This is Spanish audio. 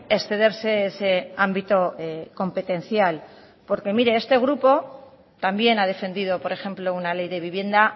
excederse ese ámbito competencial porque mire este grupo también ha defendido por ejemplo una ley de vivienda